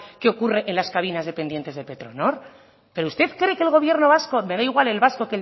qué ocurre en las cabinas dependientes de petronor pero usted cree que el gobierno de vasco me da igual el vasco